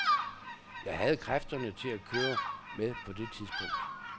Jeg havde kræfterne til at køre med på det tidspunkt.